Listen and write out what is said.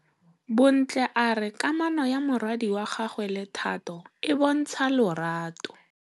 Bontle a re kamanô ya morwadi wa gagwe le Thato e bontsha lerato.